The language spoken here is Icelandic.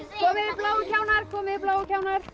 bláu kjánarnir komið þið bláu kjánar